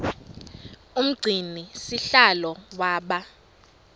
umgcini sihlalo waba